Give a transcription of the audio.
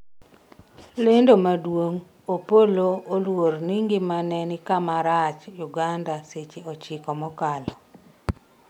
lendo maduong' Opollo oluor ni ngimane ni kama rach 'Uganda seche ochiko mokalo